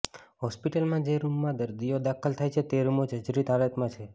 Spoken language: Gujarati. હોસ્પિટલમાં જે રૂમોમાં દર્દીઓ દાખલ થાય છે તે રૂમો જજરીત હાલતમાં છે